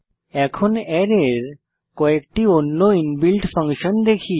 এখন অ্যারের কয়েকটি অন্য ইনবিল্ট ফাংশন দেখি